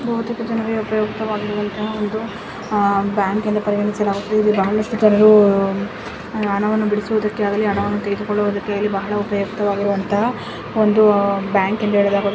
ಬಹುತೇಕ ಜನರಿಗೆ ಉಪಯುಕ್ತ ಆಗುವಂತ ಒಂದು ಬ್ಯಾಂಕ್ ಅಂತ ಪರಿಗಣಿಸಲಾಗುತ್ತಿದೆ ಇದು ಬಹಳಷ್ಟು ಜನರು ಹಣವನ್ನು ಬಿಡಿಸಲು ಹಣವನ್ನು ತೆಗೆದುಕೊಳ್ಳುಕ್ಕಾಗಿ ಬಹಳ ಉಪಯುಕ್ತ ವಾಗಿರುವಂತಹ ಬ್ಯಾಂಕು ಎಂದು ಹೇಳಬಹುದು.